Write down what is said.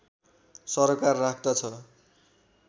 सरोकार राख्दछ